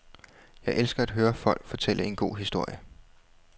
Jeg elsker at høre folk fortælle en god historie.